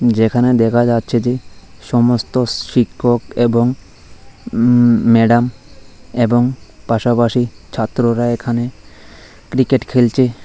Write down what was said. যেখানে দেখা যাচ্ছে যে সমস্ত শ্রিক্ষক এবং উ ম্যাডাম এবং পাশাপাশি ছাত্ররা এখানে ক্রিকেট খেলছে।